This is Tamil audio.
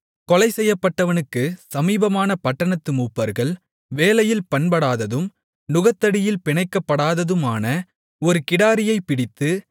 கொலைசெய்யப்பட்டவனுக்குச் சமீபமான பட்டணத்து மூப்பர்கள் வேலையில் பண்படாததும் நுகத்தடியில் பிணைக்கப்படாததுமான ஒரு கிடாரியைப் பிடித்து